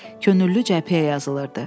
Könüllü cəbhəyə yazılırdı.